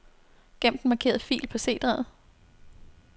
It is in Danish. Gem den markerede fil på C-drevet.